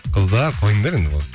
қыздар қойыңдар енді болды